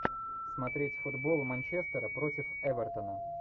смотреть футбол манчестера против эвертона